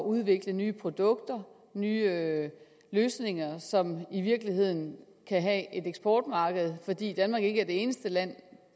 udvikle nye produkter nye løsninger som i virkeligheden kan have et eksportmarked fordi danmark ikke er det eneste land